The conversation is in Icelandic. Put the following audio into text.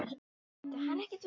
Hvað hefur svo gerst?